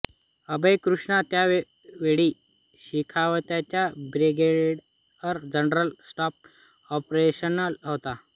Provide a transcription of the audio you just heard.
अभय कृष्णा त्यावेळी शेखावतचा brigadier general staff operations होता